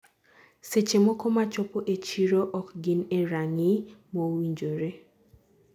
seche moko ma chopo ee chiro ok gin e ranginy mowinjore